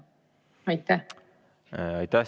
Aitäh!